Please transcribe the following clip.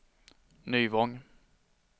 Nyvång